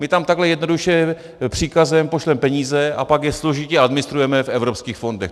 My tam takhle jednoduše příkazem pošleme peníze a pak je složitě administrujeme v evropských fondech.